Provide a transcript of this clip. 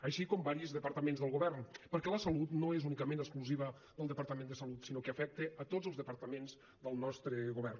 així com diversos departaments del govern perquè la salut no és únicament exclusiva del departament de salut sinó que afecta a tots els departaments del nostre govern